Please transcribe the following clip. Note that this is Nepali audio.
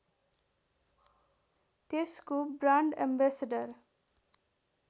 त्यसको ब्रान्ड एम्बेस्डर